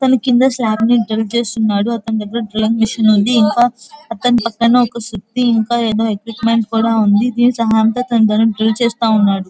పోనీ కింద చేస్తున్నాడు అతని దగ్గర డ్రిల్లింగ్ మెషిన్ ఉంది ఇంకా అతని పక్కన సుత్తి ఉంది ఇంకా ఏదో ఉంది.